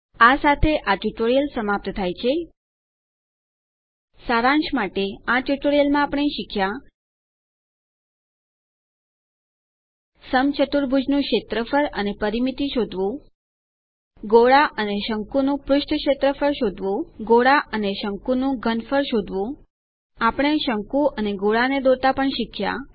આ સાથે આ ટ્યુટોરીયલ સમાપ્ત થાય છે સારાંશ માટે આ ટ્યુટોરીયલમાં આપણે શીખ્યા સમચતુર્ભુજનું ક્ષેત્રફળ અને પરિમિતિ શોધવું ગોળા અને શંકુનું પૃષ્ઠ ક્ષેત્રફળ શોધવું ગોળા અને શંકુનું ઘનફળ શોધવું આપણે શંકુ અને ગોળા ને દોરતા પણ શીખ્યા